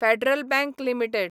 federal bank limited